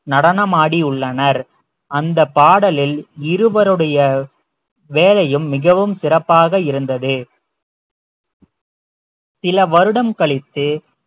நடனமாடியுள்ளனர் அந்தப் பாடலில் இருவருடைய வேலையும் மிகவும் சிறப்பாக இருந்தது சில வருடம் கழித்து